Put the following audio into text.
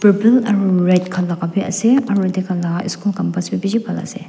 blue aru red khan laga bhi ase aru etu laga school campus bhi bisi bhan ase.